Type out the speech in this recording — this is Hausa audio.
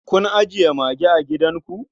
Kun ajiye mage a gidanku?